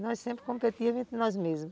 Nós sempre competíamos nós mesmas.